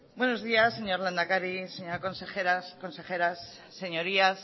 buenos días señor lehendakari señoras consejeras señorías